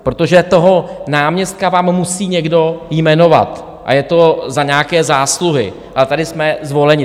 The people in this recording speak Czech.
Protože toho náměstka vám musí někdo jmenovat a je to za nějaké zásluhy a tady jsme zvoleni.